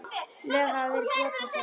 Lög hafa verið brotin, sagði biskup.